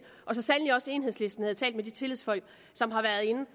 og så sandelig også enhedslisten at tale med de tillidsfolk som har været inde